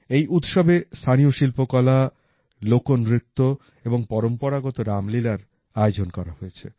এই উৎসবে স্থানীয় শিল্পকলা লোকনৃত্য এবং পরম্পরাগত রামলীলার আয়োজন করা হয়েছে